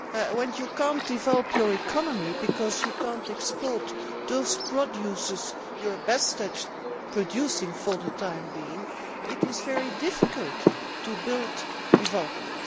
When you cannot develop your economy because you cannot export the products you are best at producing for the time being, it is very difficult to build development.